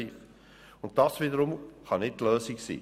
Dies wiederum kann nicht die Lösung sein.